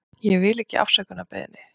Ég vil ekki afsökunarbeiðni.